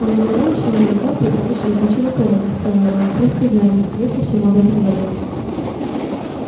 он никогда ещё не летал при помощи летучего пороха сказал рон прости гарри я совсем об этом забыл